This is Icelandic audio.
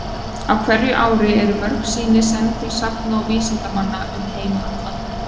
Á hverju ári eru mörg sýni send til safna og vísindamanna um heim allan.